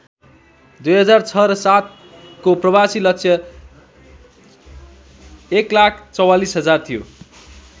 २००६ र ०७ को प्रवासी लक्ष्य १४४००० थियो।